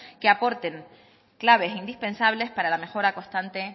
que aporten claves indispensables para la mejora constante